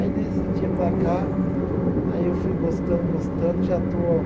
Aí desse dia para cá, aí eu fui gostando, gostando, já estou